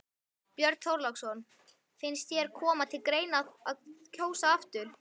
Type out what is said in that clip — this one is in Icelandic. Björn Þorláksson: Finnst þér koma til greina að kjósa aftur?